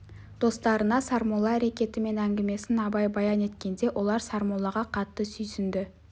достарына сармолла әрекеті мен әңгімесін абай баян еткенде олар сармоллаға қатты сүйсінді